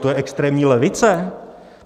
To je extrémní levice?